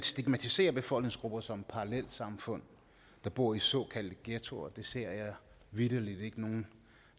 stigmatiserer befolkningsgrupper som parallelsamfund der bor i såkaldte ghettoer ser jeg vitterlig ikke nogen